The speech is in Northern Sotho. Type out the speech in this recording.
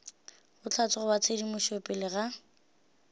bohlatse goba tshedimošo pele ga